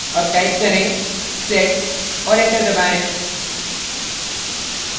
अब type करें set और enter दबाएं